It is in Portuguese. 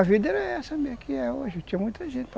A vida era essa mesmo que é hoje, tinha muita gente.